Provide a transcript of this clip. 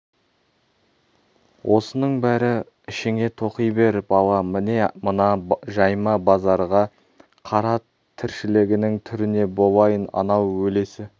осының бәрін ішіңе тоқи бер бала міне мына жайма базарға қара тіршілігінің түріне болайын анау өлесі